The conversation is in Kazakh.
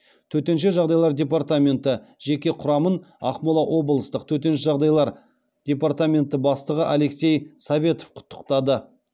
төтенше жағдайлар департаменті жеке құрамын ақмола облыстық төтенше жағдайлар департаменті бастығы алексей советов құттықтады